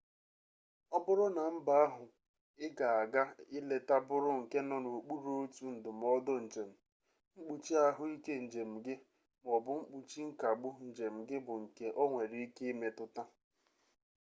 ọ bụrụ na mba ahụ ị ga-aga ileta bụrụ nke nọ n'okpuru otu ndụmọdụ njem mkpuchi ahụike njem gị ma ọ bụ mkpuchi nkagbu njem gị bụ nke o nwere ike imetụta